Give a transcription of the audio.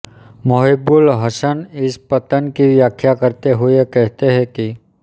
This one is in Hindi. मोहिब्बुल हसन इस पतन की व्याख्या करते हुए कहते हैं कि